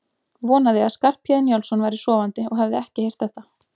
Vonaði að Skarphéðinn Njálsson væri sofandi og hefði ekki heyrt þetta.